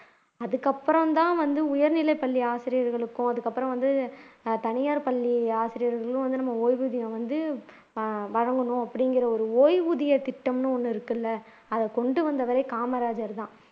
அதுக்கப்புறம்தான் வந்து உயர் நிலைப்பள்ளி ஆசிரியர்களுக்கும் அதுக்கப்புறம் வந்து தனியார் பள்ளி ஆசிரியர்களும் வந்து நம்ம ஓய்வூதியம் வந்து வழங்கணும் அப்படிங்கிற ஓய்வூதியத்திட்டம்னு ஒன்னு இருக்கு இல்ல அதை கொண்டு வந்தவரே காமராஜர் தான்